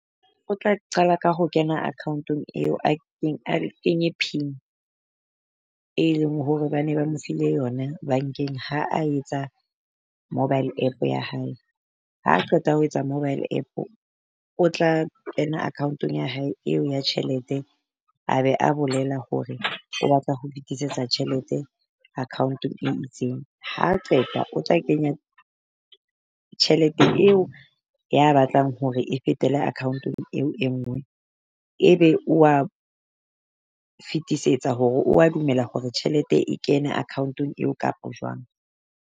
O tla qala ka ho kena account-ong eo a kenye pin, e leng hore ba ne ba mo file yona bank-eng ha a etsa mobile App ya hae. Ha qeta ho etsa mobile App o tla kena account-ong ya hae eo ya tjhelete, a be a bolela hore o batla ho kgutlisetsa tjhelete account-ong e itseng. Ha qeta o tla kenya tjhelete eo ya batlang hore e fetele account-ong eo e nngwe, ebe wa fetisetsa hore o wa dumela hore tjhelete e kene account-ong eo kapo jwang.